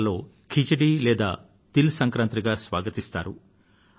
బిహార్ లో ఖిచ్డీ లేదా తిల్ సంక్రాంతి గా స్వాగతిస్తారు